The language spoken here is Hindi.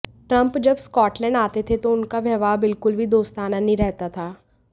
ट्रंप जब स्कॉटलैंड आते थे तो उनका व्यवहार बिल्कुल भी दोस्ताना नहीं रहता था